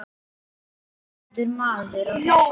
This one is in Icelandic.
réttur maður á réttum stað.